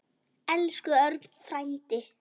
Elsku Örn frændi.